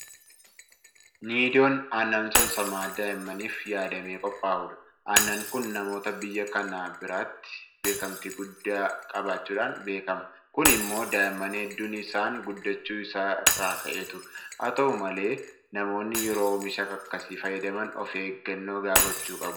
Niidoon aannan saamsamaa daa'immaniif yaadamee qophaa'udha. Aannan kun namoota biyya kanaa biratti beekamtii guddaa qabaachuudhaan beekama. Kun immoo daa'imman hedduun isaan guddachuu isaa irraa ka'eetu. Haata'u malee namoonni yeroo oomisha akkasii fayyadaman ofeeggannoo gahaa gochuu qabu.